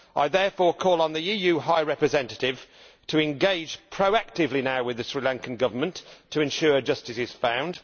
I therefore call on the EU High Representative to engage, proactively, with the Sri Lankan Government to ensure justice is found.